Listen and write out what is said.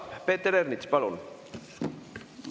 Peeter Ernits, palun!